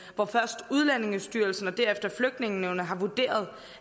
hvor først udlændingestyrelsen og derefter flygtningenævnet har vurderet